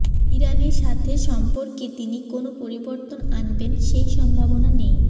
ইরানের সাথে সম্পর্কে তিনি কোনো পরিবর্তন আনবেন সেই সম্ভাবনা নেই